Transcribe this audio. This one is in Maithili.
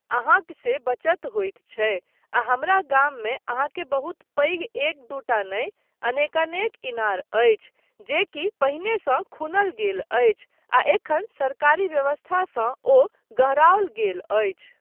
अहाँक से बचत होइत छै। आ हमरा गाममे अहाँके बहुत पैघ एक दूटा नहि अनेकानेक इनार अछि, जेकि पहिनेसँ खूनल गेल अछि आ एखन सरकारी व्यवस्थासँ ओ गहराओल गेल अछि।